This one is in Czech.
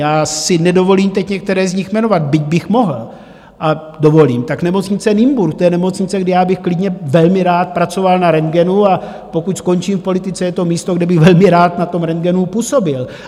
Já si nedovolím teď některé z nich jmenovat, byť bych mohl - a dovolím, tak Nemocnice Nymburk, to je nemocnice, kde já bych klidně velmi rád pracoval na rentgenu, a pokud skončím v politice, je to místo, kde bych velmi rád na tom rentgenu působil.